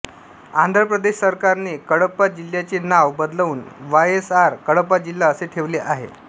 आंध्र प्रदेश सरकारने कडप्पा जिल्ह्याचे नाव बदलून वायएसआर कडप्पा जिल्हा असे ठेवले आहे